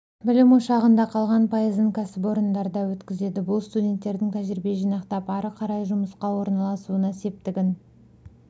білім ошағында қалған пайызын кәсіпорындарда өткізеді бұл студенттердің тәжірибе жинақтап ары қарай жұмысқа орналасуына септігін